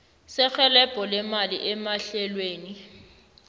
serhelebho lemali emahlelweni